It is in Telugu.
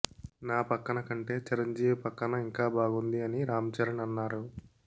నా పక్కన కంటే చిరంజీవి పక్కన ఇంకా బాగుంది అని రాంచరణ్ అన్నారు